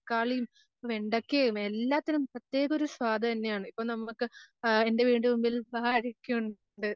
തക്കാളീം വെണ്ടക്കയും എല്ലാത്തിനും പ്രത്യേക ഒരു സ്വാദ് തന്നെയാണ്. ഇപ്പം നമുക്ക് ആഹ് എൻറെ വീടിൻറെ മുൻപിൽഉണ്ട്.